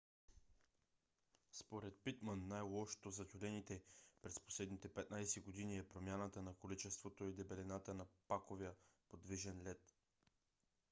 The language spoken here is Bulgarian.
според питман най - лошото за тюлените през последните 15 години е промяната на количеството и дебелината на паковия подвижен лед